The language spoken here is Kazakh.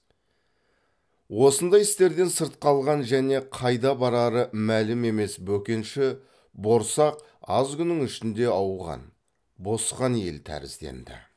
осындай істерден сырт қалған және қайда барары мәлім емес бөкенші борсақ аз күннің ішінде ауған босқан ел тәрізденді